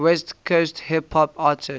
west coast hip hop artists